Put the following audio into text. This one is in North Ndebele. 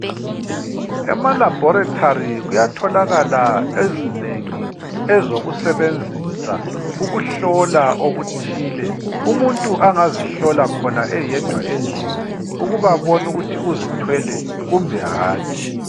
Ema laboratory kuyatholakala ezinengi ezokusebenzisa ukuhlola okuthile. Umuntu angazihlola khona eyedwa endlini ukuba abone ukuthi uzithwele kumbe hatshi